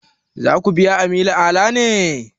Za ku biya Aminu Ala ne?